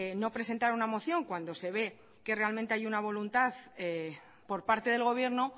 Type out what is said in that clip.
no presentar una moción cuando se ve que realmente hay una voluntad por parte del gobierno